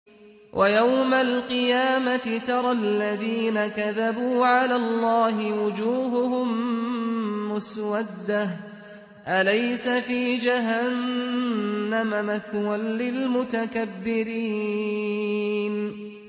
وَيَوْمَ الْقِيَامَةِ تَرَى الَّذِينَ كَذَبُوا عَلَى اللَّهِ وُجُوهُهُم مُّسْوَدَّةٌ ۚ أَلَيْسَ فِي جَهَنَّمَ مَثْوًى لِّلْمُتَكَبِّرِينَ